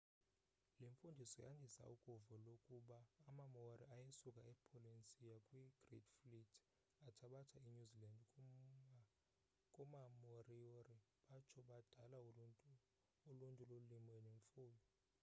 le mfundiso yandisa ukuvo lokuba amamaori ayesuka e polynesia kwi great fleet athabatha i newzealand kuma-moriori batsho badala uluntu lolimo nemfuyo